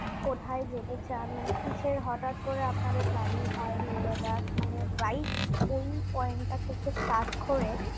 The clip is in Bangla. কোথায় যেতে চান মানে কিসের হটাৎ করে আপনাদের planning হয় লি লাদাখ মানে right ওই point টা থেকে start করে